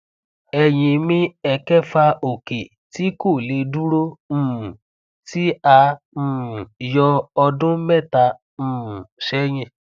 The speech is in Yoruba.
eyín mi ẹkẹfà òkè tí kò lè dúró um tí a um yọ ọdún mẹta um sẹyìn